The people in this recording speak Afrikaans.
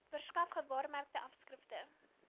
verskaf gewaarmerke afskrifte